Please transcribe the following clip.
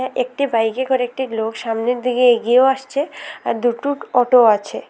একটি বাইকে করে একটি লোক সামনের দিকে এগিয়েও আসছে আর দুটো অটোও আছে।